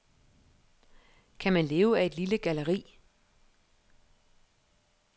Kan man leve af et lille galleri?